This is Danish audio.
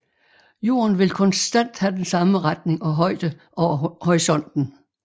Jorden vil konstant have den samme retning og højde over horisonten